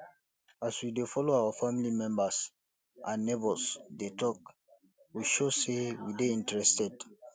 as we de follow our family members and neigbours de talk we show say we de interested